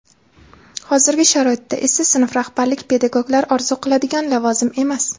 Hozirgi sharoitda esa sinf rahbarlik pedagoglar orzu qiladigan lavozim emas.